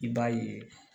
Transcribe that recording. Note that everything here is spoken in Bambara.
I b'a ye